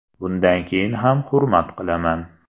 Bundan keyin ham hurmat qilaman.